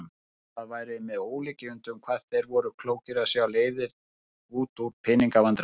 Það væri með ólíkindum hvað þeir væru klókir að sjá leiðir út úr pening- vandræðum.